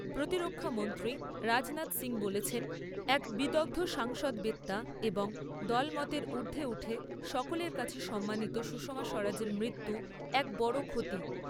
প্রতিরক্ষামন্ত্রী রাজনাথ সিং বলেছেন, এক বিদগ্ধ সংসদবেত্তা এবং দলমতের ঊর্দ্ধে উঠে সকলের কাছে সম্মানিত সুষমা স্বরাজের মৃত্যু এক বড় ক্ষতি।